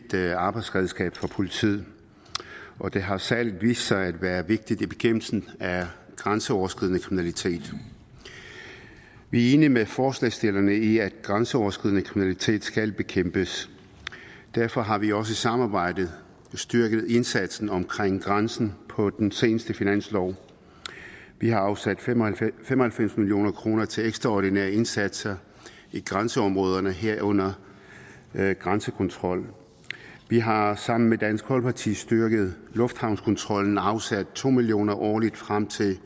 arbejdsredskab for politiet og det har særlig vist sig at være vigtigt i bekæmpelsen af grænseoverskridende kriminalitet vi er enige med forslagsstillerne i at grænseoverskridende kriminalitet skal bekæmpes derfor har vi også i samarbejde styrket indsatsen omkring grænsen på den seneste finanslov vi har afsat fem og halvfems halvfems million kroner til ekstraordinære indsatser i grænseområderne herunder grænsekontrol vi har sammen med dansk folkeparti styrket lufthavnskontrollen og afsat to million kroner årligt frem til